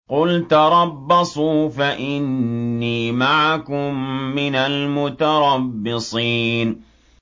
قُلْ تَرَبَّصُوا فَإِنِّي مَعَكُم مِّنَ الْمُتَرَبِّصِينَ